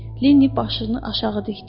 Linni başını aşağı dikdi.